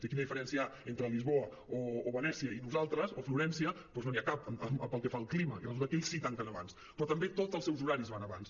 quina diferència hi ha entre lisboa o venècia i nosaltres o florència doncs no n’hi ha cap pel que fa al clima i resulta que ells sí que tanquen abans però també tots els seus horaris van abans